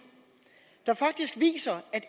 der faktisk viser at